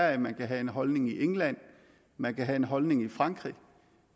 at man kan have en holdning i england at man kan have en holdning i frankrig